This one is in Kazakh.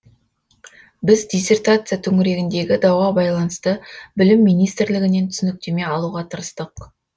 біз диссертация төңірегіндегі дауға байланысты білім министрлігінен түсініктеме алуға тырыстық